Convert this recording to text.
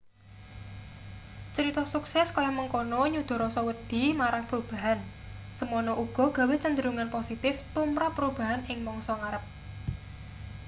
crita sukses kaya mengkono nyuda rasa wedi marang perubahan semono uga gawe kecenderungan positif tumrap perubahan ing mangsa ngarep